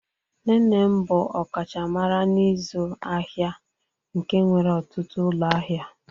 Nne nne m bụ ọkachamara n'ịzụ ahịa nke nwere ọtụtụ ụlọ ahịa.